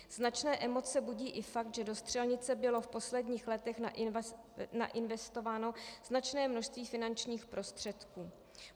Značné emoce budí i fakt, že do střelnice bylo v posledních letech nainvestováno značné množství finančních prostředků.